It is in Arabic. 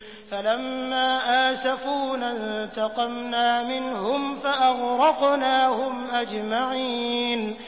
فَلَمَّا آسَفُونَا انتَقَمْنَا مِنْهُمْ فَأَغْرَقْنَاهُمْ أَجْمَعِينَ